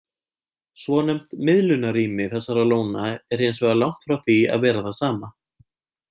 Svonefnt miðlunarrými þessara lóna er hins vegar langt frá því að vera það sama.